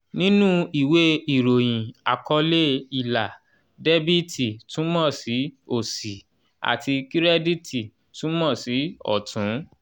nínú ìwé ìròyìn àkọlé ilà debiti túmọ̀ sí òsì" àti kirediti túmọ̀ sí "ọ̀tún".